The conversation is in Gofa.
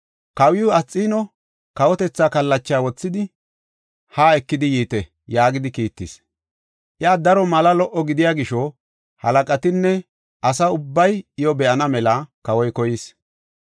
“Kawiw Asxiino kawotetha kallacha wothidi haa ekidi yiite” yaagidi kiittis. Iya daro mala lo77o gidiya gisho, halaqatinne asa ubbay iyo be7ana mela kawoy koyis.